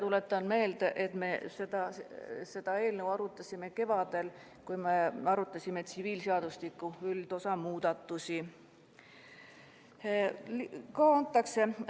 Tuletan meelde, et me seda eelnõu arutasime kevadel, kui me käsitlesime tsiviilseadustiku üldosa seaduse muudatusi.